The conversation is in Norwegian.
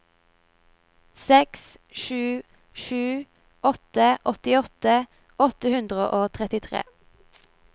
seks sju sju åtte åttiåtte åtte hundre og trettitre